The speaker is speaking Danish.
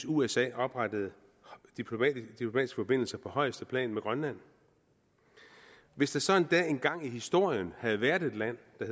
usa oprettede diplomatiske forbindelser på højeste plan med grønland hvis der så endda engang i historien havde været et land der